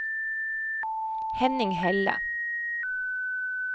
Henning Helle